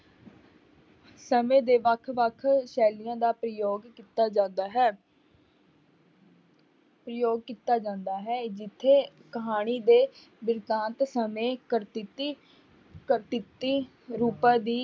ਸਮੇਂ ਦੇ ਵੱਖ ਵੱਖ ਸ਼ੈਲੀਆਂ ਦਾ ਪ੍ਰਯੋਗ ਕੀਤਾ ਜਾਂਦਾ ਹੈ ਪ੍ਰਯੋਗ ਕੀਤਾ ਜਾਂਦਾ ਹੈ, ਜਿੱਥੇ ਕਹਾਣੀ ਦੇ ਬਿਰਤਾਂਤ ਸਮੇਂ ਰੂਪਾਂ ਦੀ,